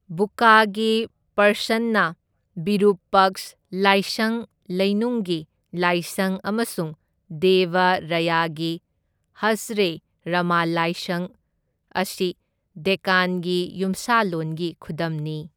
ꯕꯨꯛꯀꯥꯒꯤ ꯄ꯭ꯔꯁꯟꯅ ꯕꯤꯔꯨꯄꯛꯁ ꯂꯥꯏꯁꯪ ꯂꯩꯅꯨꯡꯒꯤ ꯂꯥꯏꯁꯪ ꯑꯃꯁꯨꯡ ꯗꯦꯕ ꯔꯌꯒꯤ ꯍꯖꯔꯦ ꯔꯃ ꯂꯥꯏꯁꯪ ꯑꯁꯤ ꯗꯦꯛꯀꯥꯟꯒꯤ ꯌꯨꯝꯁꯥꯂꯣꯟꯒꯤ ꯈꯨꯗꯝꯅꯤ꯫